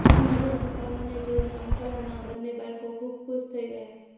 અંજુ અને સોનુને જોઇને અંકલના બંને બાળકો ખૂબ ખુશ થઇ ગયા